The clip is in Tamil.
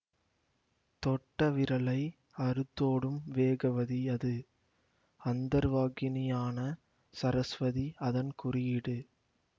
தொட்டவிரலை அறுத்தோடும் வேகவதி அது அந்தர்வாகினியான சரஸ்வதி அதன் குறியீடு